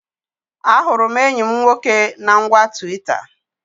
Ahụrụ m enyi mụ nwoke na ngwa Twita